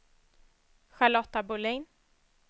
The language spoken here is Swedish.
Charlotta Bohlin